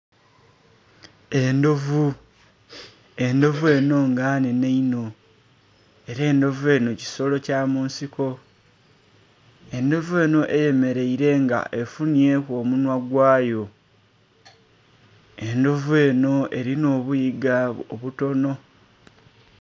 Endhovu, endhovu eno nga nnhenhe inho ela endhovu eno kisolo kya mu nsiko. Endhovu eno eyemeleire nga efunhyeku omunhwa gwayo. Endhovu eno elinha obuyiga obutono.